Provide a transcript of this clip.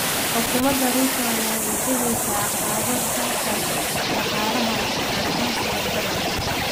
Xukuumada Ruto ayaa wajaheysa caqabado dhanka dhaqaalaha ah gaar ahaan sicir bararka.